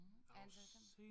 Antal sæsoner